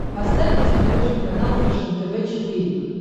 поставь на смотрешке канал фэшен тв четыре к